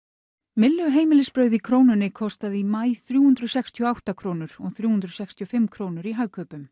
myllu í Krónunni kostaði í maí þrjú hundruð sextíu og átta krónur og þrjú hundruð sextíu og fimm krónur í Hagkaupum